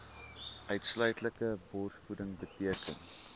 uitsluitlike borsvoeding beteken